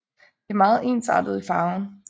Det er meget ensartet i farven